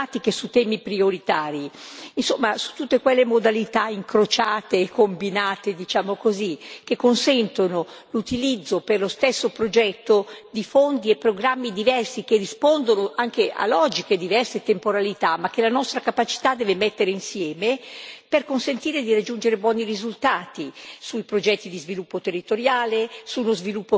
Insomma, tutte quelle modalità incrociate e combinate, diciamo così, che consentono l'utilizzo, per lo stesso progetto, di fondi e programmi diversi che rispondono anche a logiche diverse di temporalità ma che la nostra capacità deve mettere insieme, per consentire di raggiungere buoni risultati, sui progetti di sviluppo territoriale, sullo sviluppo che si incrocia con la digitalizzazione,